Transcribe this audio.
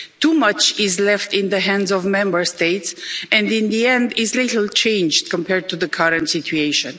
Too much is left in the hands of the Member States and in the end there is little changed compared to the current situation.